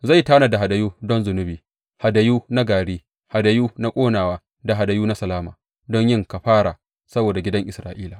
Zai tanada hadayu don zunubi, hadayu na gari, hadayu na ƙonawa da hadayu na salama don yin kafara saboda gidan Isra’ila.